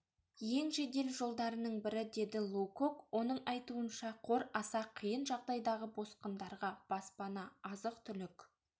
ең жедел жолдарының бірі деді лоукок оның айтуынша қор аса қиын жағдайдағы босқындарға баспана азық-түлік